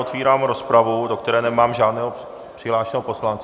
Otevírám rozpravu, do které nemám žádného přihlášeného poslance.